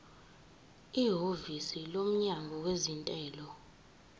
ihhovisi lomnyango wezentela